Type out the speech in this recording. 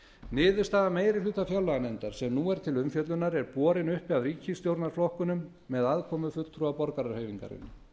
niðurstaða meiri hluta fjárlaganefndar sem nú er til umfjöllunar er borin uppi af ríkisstjórnarflokkunum með aðkomu fulltrúa borgarahreyfingarinnar